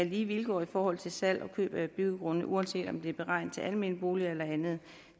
lige vilkår i forhold til salg og køb af byggegrunde uanset om det er beregnet til almene boliger eller andet